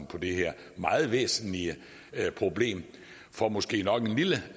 på det her meget væsentlige problem for måske nok en lille